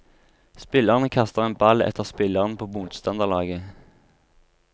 Spillerne kaster en ball etter spillerne på motstanderlaget.